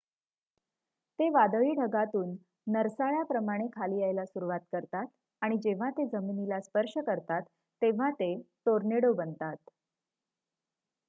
ते वादळी ढगातून नरसाळ्या प्रमाणे खाली यायला सुरुवात करतात आणि जेव्हा ते जमिनीला स्पर्श करतात तेव्हा ते टोर्नेडो' बनतात